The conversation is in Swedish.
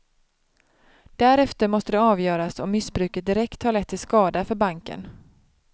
Därefter måste det avgöras om missbruket direkt har lett till skada för banken.